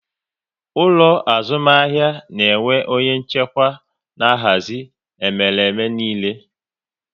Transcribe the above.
Ụlọ azụmahịa na-enwe onye nchịkwa na-ahazi emereme niile